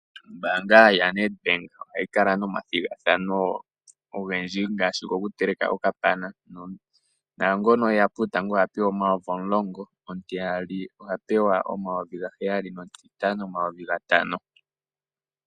Ombaanga ya Nedbank ohayi kala nomathigathano ogendji ngaashi gokuteleka okapana, naangono eya puutango oha pewa omayovi omulongo, omutiyali oha pewa omayovi ga heyali nomutitatu oha pewa omayovi gatano.